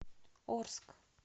орск